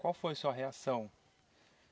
Qual foi a sua reação?